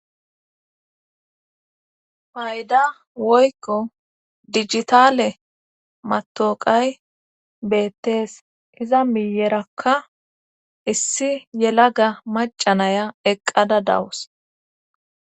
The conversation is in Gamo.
Payda woykko dijitale matoqay beettees iza miyerakka issi yela ga macanaya eqqada dawus.